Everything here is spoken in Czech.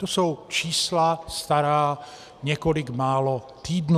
To jsou čísla stará několik málo týdnů.